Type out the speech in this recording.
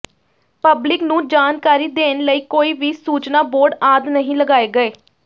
public ਨੂੰ ਜਾਣਕਾਰੀ ਦੇਣ ਲਈ ਕੋਈ ਵੀ ਸੂਚਨਾ ਬੋਰਡ ਆਦਿ ਨਹੀਂ ਲਗਾਏ ਗਏ